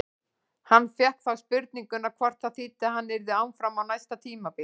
Hann fékk þá spurninguna hvort það þýddi að hann yrði áfram á næsta tímabili?